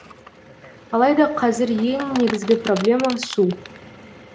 алайда қазір ең негізгі проблема су